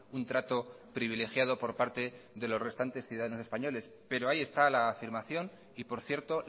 un trato privilegiado por parte de los restantes ciudadanos españoles pero ahí está la afirmación y por cierto